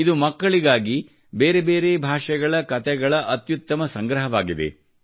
ಇದು ಮಕ್ಕಳಿಗಾಗಿ ಬೇರೆ ಬೇರೆ ಭಾಷೆಗಳ ಕತೆಗಳ ಅತ್ಯುತ್ತಮ ಸಂಗ್ರಹವಾಗಿದೆ